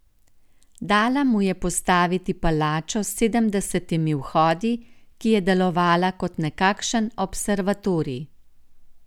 Dala mu je postaviti palačo s sedemdesetimi vhodi, ki je delovala kot nekakšen observatorij.